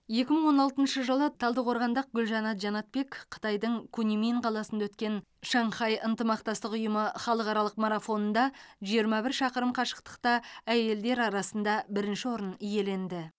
екі мың он алтыншы жылы талдықорғандық гүлжанат жанатбек қытайдың куньмин қаласында өткен шанхай ынтымақтастық ұйымы халықаралық марафонында жиырма бір шақырым қашықтықта әйелдер арасында бірінші орын иеленді